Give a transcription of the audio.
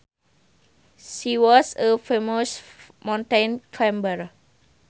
She was a famous mountain climber